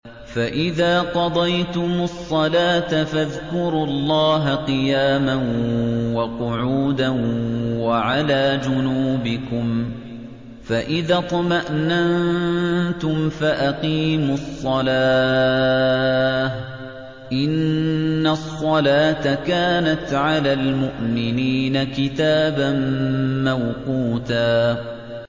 فَإِذَا قَضَيْتُمُ الصَّلَاةَ فَاذْكُرُوا اللَّهَ قِيَامًا وَقُعُودًا وَعَلَىٰ جُنُوبِكُمْ ۚ فَإِذَا اطْمَأْنَنتُمْ فَأَقِيمُوا الصَّلَاةَ ۚ إِنَّ الصَّلَاةَ كَانَتْ عَلَى الْمُؤْمِنِينَ كِتَابًا مَّوْقُوتًا